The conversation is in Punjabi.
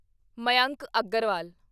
ਮਯੰਕ ਅਗਰਵਾਲ